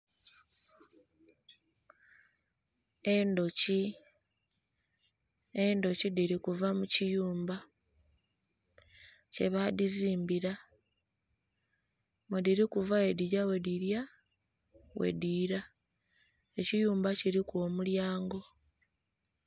Endhuki, endhuki dhili kuva mu kiyumba kye badhizimbira mwe dhili kuva bwedhigya bwe dhilya bwe dhiila, ekiyumba kiliku omulyango.